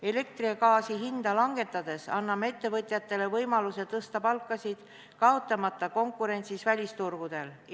Elektri ja gaasi hinda langetades anname ettevõtjatele võimaluse tõsta palkasid, kaotamata konkurentsis välisturgudel.